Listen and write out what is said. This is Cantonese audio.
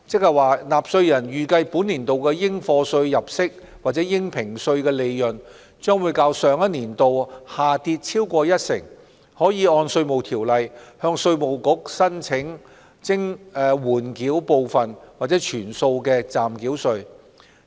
若納稅人預計本年度的應課稅入息或應評稅利潤將較上年度下跌超過一成，可按《稅務條例》向稅務局申請緩繳部分或全數的暫繳稅。